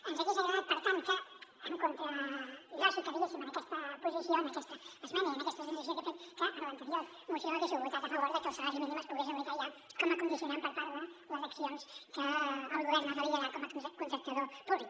ens hagués agradat per tant que en contra lògica diguéssim en aquesta posi·ció en aquesta esmena i en aquesta transacció que hem fet que en l’anterior moció haguéssiu votat a favor de que el salari mínim es pogués aplicar ja com a condicio·nant per part de les accions que el govern ha de liderar com a contractador públic